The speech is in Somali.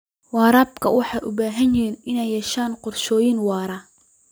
Waraabka wuxuu u baahan yahay inuu yeesho qorshooyin waara.